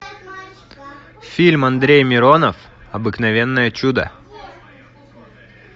фильм андрей миронов обыкновенное чудо